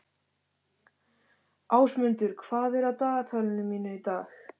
Ásmundur, hvað er á dagatalinu mínu í dag?